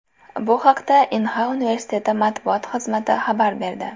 Bu haqda Inha universiteti matbuot xizmati xabar berdi .